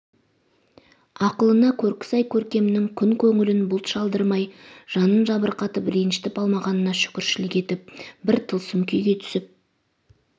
ақылына көркі сай көркемнің күн көңілін бұлт шалдырмай жанын жабырқатып ренжітіп алмағанына шүкіршілік етіп бір тылсым күйге түсіп